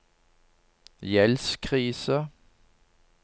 gjeldskrise